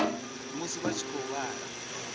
musi vha tshi khou vhala